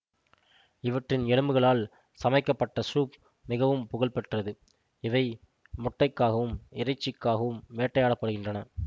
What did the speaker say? இவற்றின் எலும்புகளால் சமைக்கப்பட்ட சூப் மிகவும் புகழ் பெற்றது இவை முட்டைக்காகவும் இறைச்சிக்காகவும் வேட்டையாட படுகின்றன